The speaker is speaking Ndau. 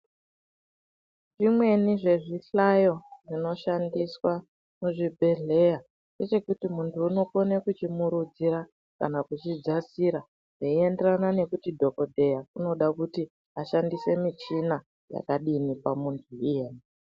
Zvimweni zvezvihlayo zvinoshandiswa muzvibhedhleya ndechekuti muntu unokone kuchimurudzira kana kuchidzasira zvinoenderana nekuti dhokodheya anoda kushandisa michina yakadini pamuntu iyena.